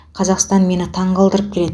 қазақстан мені таңқалдырып келеді